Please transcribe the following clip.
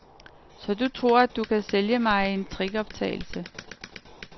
Så du tror, at du kan sælge mig en trickoptagelse.